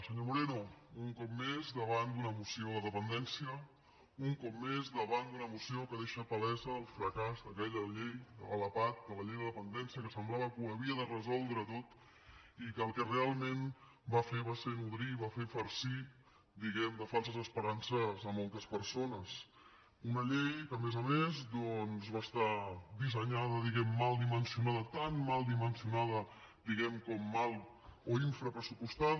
senyor moreno un cop més davant d’una moció de dependència un cop més davant d’una moció que deixa palès el fracàs d’aquella llei de la lapad de la llei de dependència que semblava que ho havia de resoldre tot i que el que realment va fer va ser nodrir i va fer farcir diguem ne de falses esperances a moltes persones una llei que a més a més doncs va estar dissenyada diguem ne mal dimensionada tan mal dimensionada com mal o infrapressupostada